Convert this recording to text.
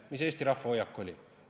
Milline oli Eesti rahva hoiak?